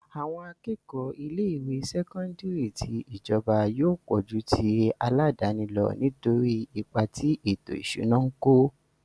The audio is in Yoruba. Àwọn akẹ́kọ̀ọ́ ilé ìwé sẹ́kọ́ńdírì tí ìjọba yóò pọ̀ ju ti aládàáni lọ nítorí ipa tí ètò ìṣúná ń kó.